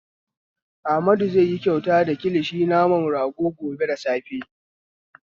Amadu zai yi kyauta da kilishin naman rago gobe da safe.